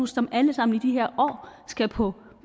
som alle sammen i de her år skal på